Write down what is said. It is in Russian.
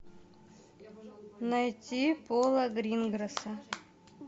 найти пола гринграсса